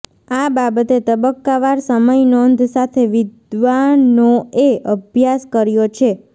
આ બાબતે તબક્કાવાર સમયનોંધ સાથે વિદ્વાનોએ અભ્યાસ કર્યો છે